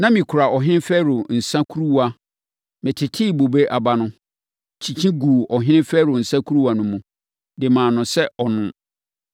Na mekura ɔhene Farao nsã kuruwa. Metetee bobe aba no, kyikyi guu ɔhene Farao nsã kuruwa no mu, de maa no sɛ ɔnnom.”